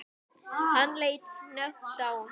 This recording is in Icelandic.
Hann leit snöggt á hana.